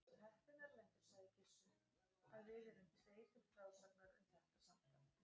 Þú ert heppinn, Erlendur, sagði Gizur, að við erum tveir til frásagnar um þetta samtal.